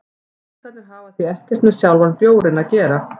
Punktarnir hafa því ekkert með sjálfan bjórinn að gera.